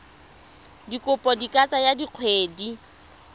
dikopo di ka tsaya dikgwedi